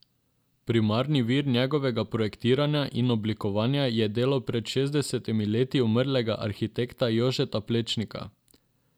Primarni vir njegovega projektiranja in oblikovanja je delo pred šestdesetimi leti umrlega arhitekta Jožeta Plečnika.